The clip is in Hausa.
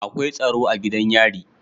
Akwai tsaro a gidan yari